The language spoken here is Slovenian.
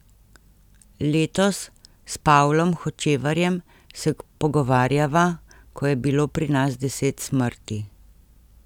Letos, s Pavlom Hočevarjem se pogovarjava, ko je bilo pri nas deset smrti.